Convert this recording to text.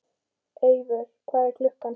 Eivör, hvað er klukkan?